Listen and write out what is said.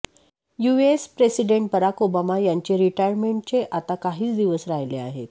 US president Barack Obama यांचे रिटायरमेंटचे आता काहीच दिवस राहिले आहेत